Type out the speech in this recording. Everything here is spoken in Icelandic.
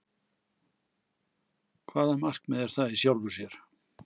Hvaða markmið er það í sjálfu sér?